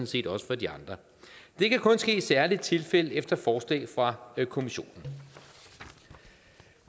set også for de andre det kan kun ske i særlige tilfælde efter forslag fra kommissionen